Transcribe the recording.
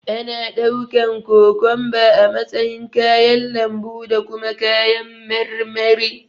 Ana ɗaukan kokomba a matsayin kayan lambu da kuma kayan marmari.